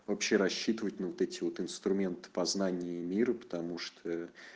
вообще рассчитывать на вот эти вот инструменты познания мира потому что